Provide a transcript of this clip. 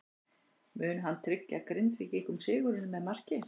Mun hann tryggja Grindvíkingum sigurinn með marki?